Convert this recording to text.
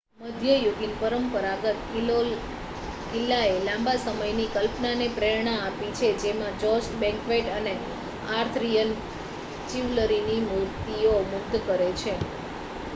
મધ્યયુગીન પરંપરાગત કિલ્લાએ લાંબા સમયથી કલ્પનાને પ્રેરણા આપી છે જેમાં જોસ્ટ બેન્ક્વેટ અને આર્થરિયન ચિવલરીની મૂર્તિઓ મુગ્ધ કરે છે